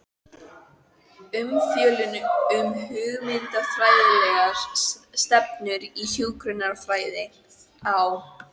Umfjöllun um hugmyndafræðilegar stefnur í hjúkrunarfræði á